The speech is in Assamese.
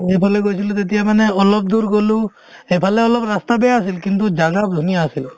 আৰু এইফালে গৈছিলো তেতিয়া মানে অলপ দূৰ গ'লো সেইফালে অলপ ৰাস্তা বেয়া আছিল কিন্তু জাগা ধুনীয়া আছিলে